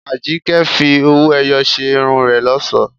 Àjíkẹ́ fi owó-ẹyọ ṣe irun rẹ̀ lọ́ṣọ̀ọ́.